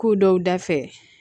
Ko dɔw da fɛ